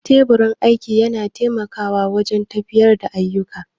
Teburin aiki yana taimakawa wajen tafiyar da ayyuka